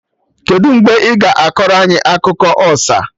Kedụ mgbe ị ga akọrọ anyị akụkọ ọsa?